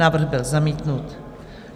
Návrh byl zamítnut.